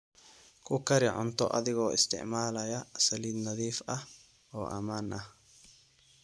Ku kari cunto adigoo isticmaalaya saliid nadiif ah oo ammaan ah.